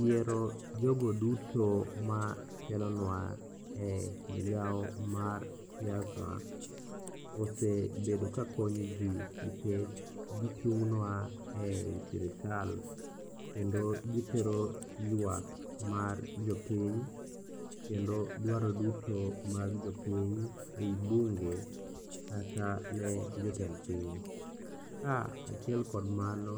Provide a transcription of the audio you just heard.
Yiero jogo duto matelonwa e migao mar siasa osebedo kakonyo ji nikech gichung'nwa e i sirikal kendo gitero ywak mar jopiny kendo dwaro duto mag jopiny e i bunge kata ne jotend piny. Kaachiel kod mano,